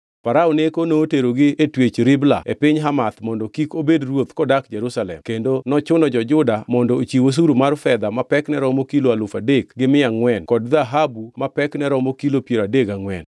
Farao Neko noterogi e twech Ribla e piny Hamath mondo kik obed ruoth kodak Jerusalem kendo nochuno jo-Juda mondo ochiw osuru mar fedha ma pekne romo kilo alufu adek gi mia angʼwen kod dhahabu ma pekne romo kilo piero adek gangʼwen.